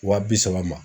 Wa bi saba ma